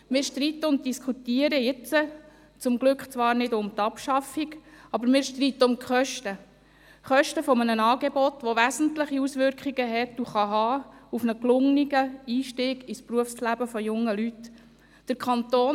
Wir streiten und diskutieren jetzt glücklicherweise zwar nicht über eine Abschaffung, aber wir streiten um die Kosten – Kosten eines Angebots, das wesentliche Auswirkungen auf einen gelungenen Einstieg ins Berufsleben junger Leute haben wird und haben kann.